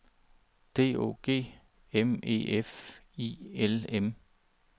D O G M E F I L M